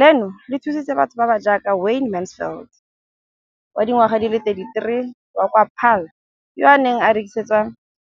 Leno le thusitse batho ba ba jaaka Wayne Mansfield, 33, wa kwa Paarl, yo a neng a rekisetsa